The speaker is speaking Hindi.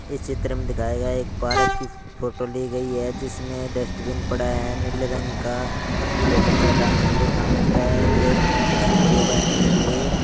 इस चित्र में दिखाया गया एक पार्क की फोटो ली गयी है जिसमें डस्टबिन पड़ा है नीले रंग का जो कचरा डालने के लिए काम आता है इधर एक कुर्सी पड़ी है बैठने के लिए।